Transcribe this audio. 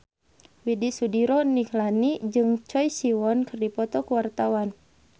Widy Soediro Nichlany jeung Choi Siwon keur dipoto ku wartawan